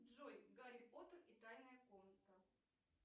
джой гарри поттер и тайная комната